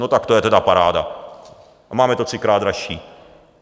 No tak to je tedy paráda a máme to třikrát dražší.